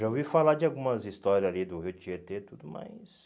Já ouvi falar de algumas histórias ali do Rio Tietê e tudo mais.